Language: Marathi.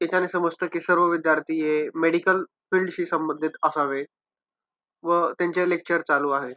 याच्याने समजतं की सर्व विद्यार्थी हे मेडिकल फिल्ड शी संबंधित असावे व त्यांचे लेक्चर चालू आहेत.